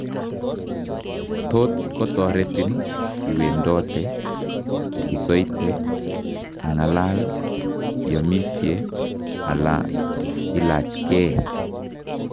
Tot kotoretin iwendote, isoite, ing'alal, iomisie ala ilachkee